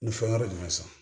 Ni fɛn wɛrɛ jumɛn san